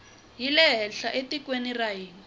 yile henhla etikweni ra hina